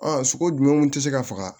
Ɔ sogo jumɛn kun tɛ se ka faga